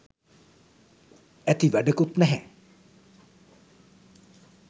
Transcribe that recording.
ඇති වැඩකුත් නැහැ